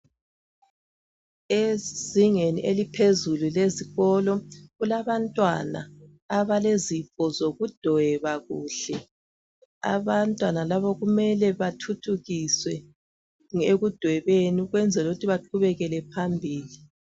Ezingeni eliphezulu lesikolo kulabantwana abalezipho zokudweba kuhle abantwana laba kumele bathuthukiswe ekudwebeni ukwenzela ukuthi baqhubekele phambili